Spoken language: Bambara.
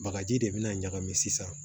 Bagaji de bina ɲagami sisan